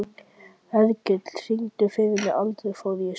Hergill, syngdu fyrir mig „Aldrei fór ég suður“.